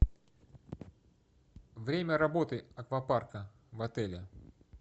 время работы аквапарка в отеле